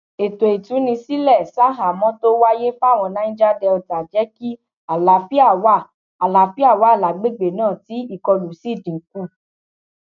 ètò ìtúnisílẹ ṣaháhámọ tó wáyé fáwọn niger delta jẹ kí àlàáfíà wà àlàáfíà wà lágbègbè náà tí ìkọlù sì dínkù